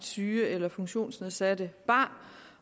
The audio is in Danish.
syge eller funktionsnedsatte barn